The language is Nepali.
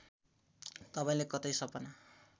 तपाईँलाई कतै सपना